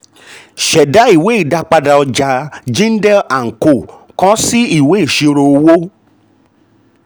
ṣẹda ìwé ìdápadà ọja jindal and co kọ si ìwé ìṣirò owó.